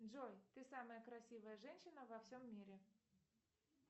джой ты самая красивая женщина во всем мире